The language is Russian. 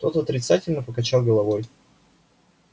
тот отрицательно покачал головой